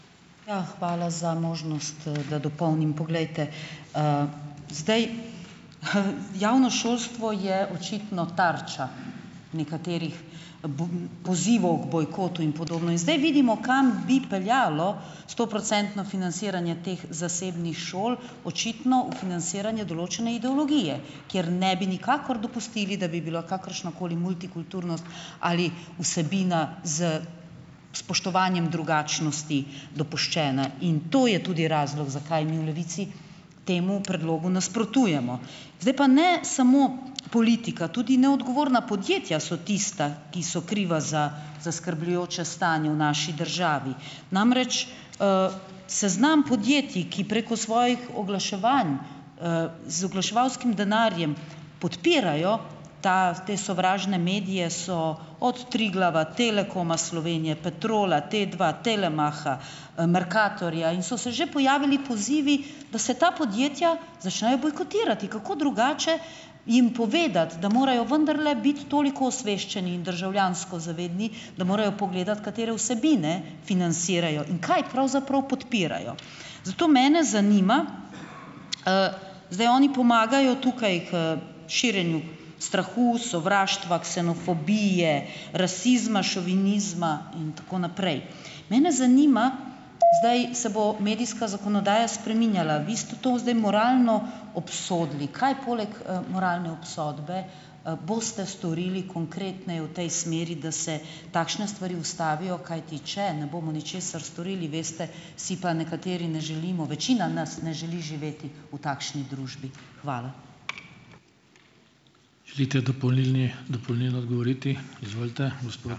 Ja, hvala za možnost, da dopolnim. Poglejte, zdaj, javno šolstvo je očitno tarča nekaterih, pozivov k bojkotu in podobno. In zdaj vidimo, kam bi peljalo stoprocentno financiranje teh zasebnih šol. Očitno v financiranje določene ideologije, kjer ne bi nikakor dopustili, da bi bila kakršnakoli multikulturnost ali vsebina z spoštovanjem drugačnosti dopuščene. In to je tudi razlog, zakaj mi v Levici temu predlogu nasprotujemo. Zdaj pa ne samo, politika, tudi neodgovorna podjetja so tista ki so kriva za zaskrbljujoče stanje v naši državi, namreč, seznam podjetij, ki preko svojih oglaševanj, z oglaševalskim denarjem podpirajo ta te sovražne medije, so od Triglava, Telekoma Slovenije, Petrola, Tadva, Telemacha, Mercatorja, in so se že pojavili pozivi, da se ta podjetja začnejo bojkotirati. Kako drugače jim povedati, da morajo vendarle biti toliko osveščeni in državljansko zavedni, da morajo pogledati, katere vsebine financirajo in kaj pravzaprav podpirajo. Zato mene zanima, zdaj oni pomagajo tukaj k širjenju strahu, sovraštva, ksenofobije, rasizma, šovinizma in tako naprej mene zanima ... Zdaj se bo medijska zakonodaja spreminjala, vi ste to zdaj moralno obsodili. Kaj poleg, moralne obsodbe, boste storili konkretneje v tej smeri, da se takšne stvari ustavijo, kajti če ne bomo ničesar storili, veste, si pa nekateri ne želimo, večina nas ne želi živeti v takšni družbi. Hvala.